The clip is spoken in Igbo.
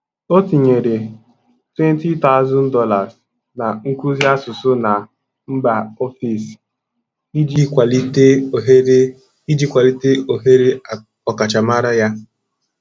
O tinyere $20,000 na nkuzi asụsụ na mba ofesi iji kwalite ohere iji kwalite ohere ọkachamara ya.